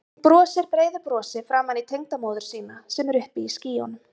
Hún brosir breiðu brosi framan í tengdamóður sína sem er uppi í skýjunum.